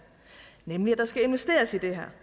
nemlig at der skal investeres i det her